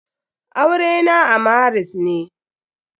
Aure na a maris ne.